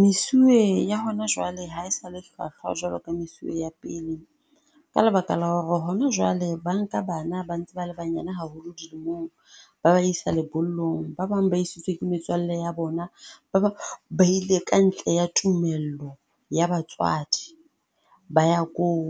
Mesuwe ya hona jwale ha e sa le hlwahlwa jwalo ka mesuwe ya pele. Ka lebaka la hore hona jwale ba nka bana ba ntse ba le banyane haholo dilemong ba ba isa lebollong. Ba bang ba isitswe ke metswalle ya bona. Ba bang ba ile ka ntle ya tumello ya batswadi ba ya koo.